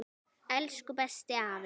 Elsku besti afi.